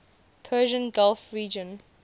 persian gulf region